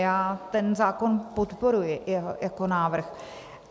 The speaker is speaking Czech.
Já ten zákon podporuji jako návrh.